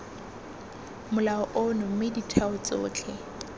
molao ono mme ditheo tsotlhe